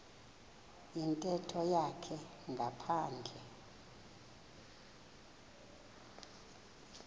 yintetho yakhe ngaphandle